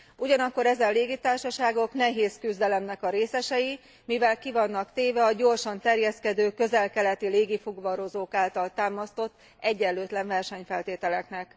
Ugyanakkor, ezen légitársaságok nehéz küzdelemnek a részesei, mivel ki vannak téve a gyorsan terjeszkedő közel keleti légi fuvarozók által támasztott egyenlőtlen versenyfeltételeknek.